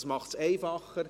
Das macht es einfacher;